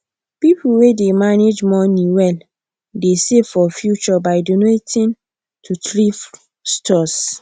people wey dey manage money well dey save for future by donating to thrift stores